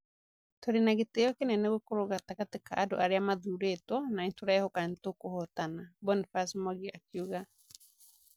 "Tũrĩ na gĩtĩo kĩnene gũkorwo gatagatĩ ka andũ arĩa mathuurĩtwo na nĩ tũrehoka nĩ tũkũhootana, "Boniface Mwangi akiuga.